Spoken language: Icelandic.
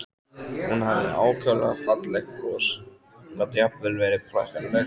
Hún hafði ákaflega fallegt bros og gat jafnvel verið prakkaraleg.